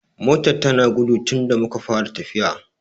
Motar ta na gudu tunda muka fara tafiya